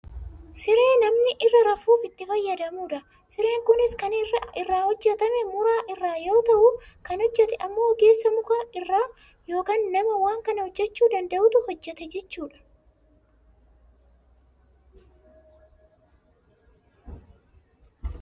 siree namni irra rafuuf itti fayyadamudha. Sireen kunis kan inni irraa hojjatame mura irraa yoo ta'u kan hojjate ammoo ogeessa mukaa irraa yookaan nama waan kana hojjachuu danda'utu hojjate jechuudha.